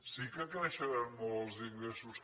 sí que creixeran molt els ingressos